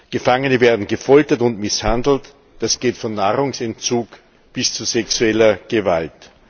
Gefangene werden gefoltert und misshandelt das geht von Nahrungsentzug bis zu sexueller Gewalt.